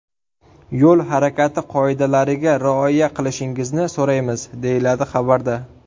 Yo‘l harakati qoidalariga rioya qilishingizni so‘raymiz”, deyiladi xabarda.